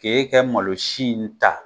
K'i kɛ malo si in ta.